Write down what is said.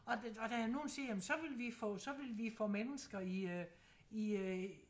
Og det og der er nogen der siger jamen så ville vi få så ville vi få mennesker i øh i øh